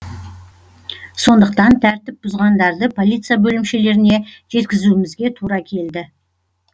сондықтан тәртіп бұзғандарды полиция бөлімшелеріне жеткізумізге тура келді